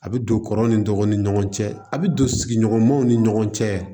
A bɛ don kɔrɔ ni dɔgɔ ni ɲɔgɔn cɛ a' bɛ don sigiɲɔgɔnmaw ni ɲɔgɔn cɛ